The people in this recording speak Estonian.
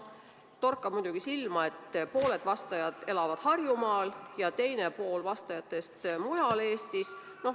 Torkab muidugi silma, et pooled vastajad elavad Harjumaal ja teine pool elab mujal Eestis.